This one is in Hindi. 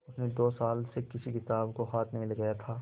उसने दो साल से किसी किताब को हाथ नहीं लगाया था